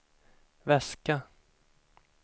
väska